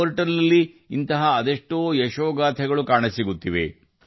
ಪೋರ್ಟಲ್ನಲ್ಲಿ ಇಂತಹ ಅನೇಕ ಯಶಸ್ಸಿನ ಕಥೆಗಳು ಕಂಡುಬರುತ್ತವೆ